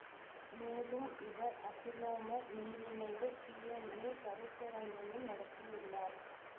மேலும் இவர் அசிலோமெர் மீளிணைவு டிஎன்ஏ கருத்தரங்கையும் நடத்தியுள்ளார்